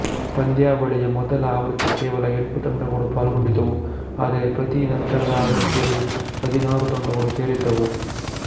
ಪಂದ್ಯಾವಳಿಯ ಮೊದಲ ಆವೃತ್ತಿ ಕೇವಲ ಎಂಟು ತಂಡಗಳು ಪಾಲ್ಗೊಂಡಿದ್ದವು ಆದರೆ ಪ್ರತಿ ನಂತರದ ಆವೃತ್ತಿಯಲ್ಲಿ ಹದಿನಾರು ತಂಡಗಳು ಸೇರಿದ್ದವು